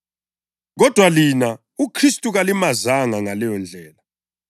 Kodwa lina uKhristu kalimazanga ngaleyondlela.